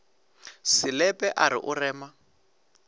selepe a re o rema